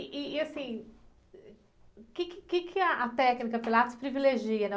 Ih, ih, e assim, o quê que, o quê que a técnica Pilates privilegia, né?